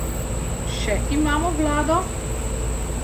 Še imamo vlado?